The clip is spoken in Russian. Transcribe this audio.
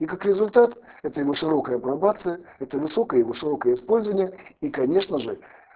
и как результат этой его широкой апробация это высокое высокое использование и конечно же